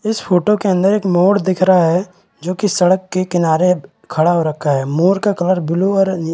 इस फोटो के अंदर एक मोर दिख रहा है जो की सड़क के किनारे खड़ा हो रखा है मोर का कलर ब्लू और नील--